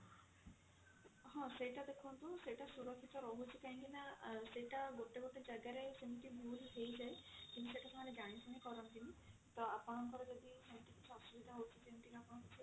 ହଁ ସେଇଟା ଦେଖନ୍ତୁ ସୁରକ୍ଷିତ ରହୁଛି କାହିଁକି ନା ସେଇଟା ଗୋଟେ ଗୋଟେ ଜାଗା ରେ ସେମତି ଭୁଲ ହେଇଯାଏ ସେଟା ସେମାନେ ଜାଣିଶୁଣି କରନ୍ତିନି ତ ଆପଣଙ୍କର ଯଦି ସେମତି କିଛି ଅସୁବିଧା ହଉଛି